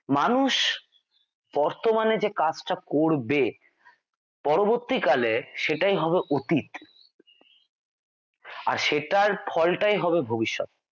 মানুষ বর্তমানে যে কাজ টা করবে পরবর্তীকালে সেটাই হবে অতীত আর সেটার ফলটাই হবে ভবিষ্যৎ।